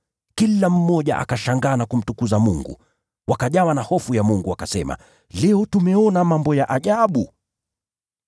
Kila mmoja akashangaa na kumtukuza Mungu. Wakajawa na hofu ya Mungu, wakasema, “Leo tumeona mambo ya ajabu.”